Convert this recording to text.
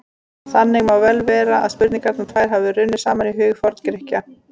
Þannig má vel vera að spurningarnar tvær hafi runnið saman í huga Forngrikkja.